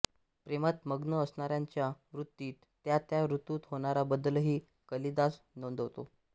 प्रेमात मग्न असणाऱ्यांच्या वृत्तीत त्या त्या ऋतूत होणारा बदलही कालिदास नोंदवितो